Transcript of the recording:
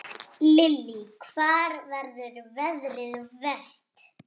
Lillý: Hvar verður veðrið verst?